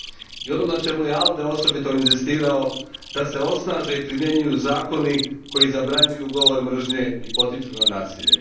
I ono na čemu je ALDE osobito inzistirao, da se osnaže i primjenjuju zakoni koji zabranjuju govor mržnje i potiču na nasilje.